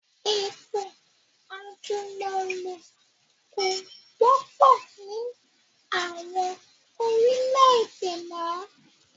Ètò àjùmọ̀lo kò wọ́pọ̀ ni àwọn orílẹ̀ èdè mọ